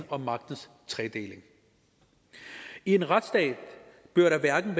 og magtens tredeling i en retsstat bør hverken